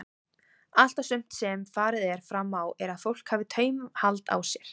Allt og sumt sem farið er fram á er að fólk hafi taumhald á sér.